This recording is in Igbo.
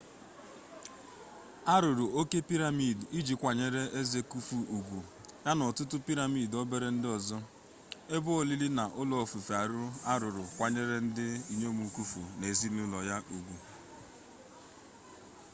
arụrụ oke piramid iji kwanyere eze khufu zugwu ya na ọtụtụ piramid obere ndị ọzọ ebe olili na ụlọ ofufe arụrụ ịkwanyere ndị inyom khufu na ezinụlọ ya ugwu